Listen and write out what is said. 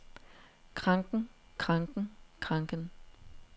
kranken kranken kranken